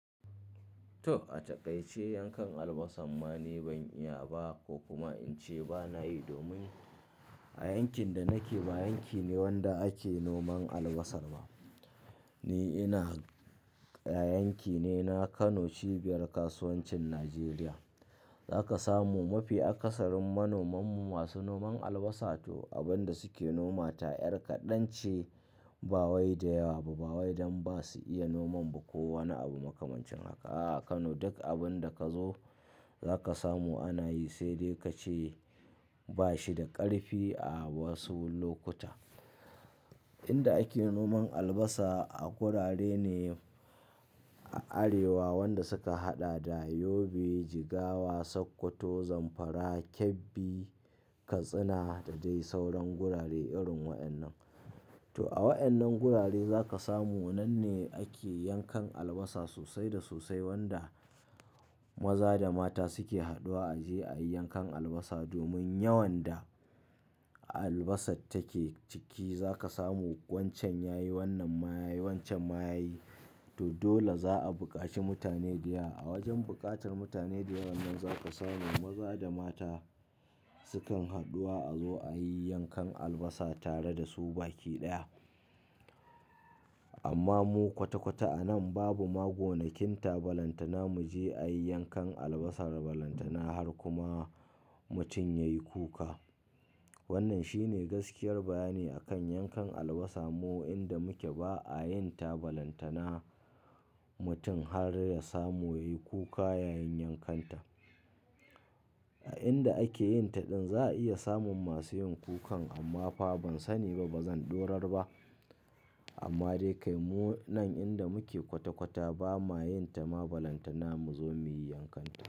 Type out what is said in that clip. To a taƙaice yankan albasa ma ni ban iya ba ko kuma in ce ba na yi domin a yankin da nake ba yanki ne wanda ake noman albasa ba. Ni ina a yankine na Kano cibiyar kasuwancin Najeriya. Za ka samu mafi akasarin manomanmu masu noman albasa to abin da suke noma ta ƴar kaɗan ce. Bawai da yawa ba bawai dan ba su iya noman ba ko wani abu makamancin haka. A Kano duk abin da kazo za ka samu ana yi, sai dai kace bashi da ƙarfi a wasu lokuta. Inda ake noman albasa a gurare ne a arewa, wanda suka haɗa da Yobe, Jigawa, Sokoto, Zamfara, Kebbi, Katsina da dai sauran gurare irin waɗannan. To a waɗannan gurare za ka samu nan ne ake yankan albasa sosai da sosai, wanda maza da mata suke haduwa a je a yi yankan albasa. Domin yawan da albasan take ciki za ka samu wancan yayi wannan mayayi wancan mayayi. To dole za a bukaci mutane da yawa. A wajen buƙatar mutane da yawan za ka samu maza da mata sukan haduwa a zo a yi yankan albasa tare da su baki ɗaya. Amma mu kwata-kwata a nan babu ma gonakin ta balantana muje a yi yankan albasa balantana har kuma mutum yayi kuka. Wannan shine gaskiyar bayani akan yankan albasa mu inda muka ba a yin tabalantana mutum har ya samu yayi kuka yayin yankanta. A inda ake yin taɗin za a iya samun masu yin kukan amma fa ban sani ba bazan ɗorar ba. Amma dai kai mu nan inda muke kwata-kwata ba ma yin tabalantana mu zo muyi yankanta.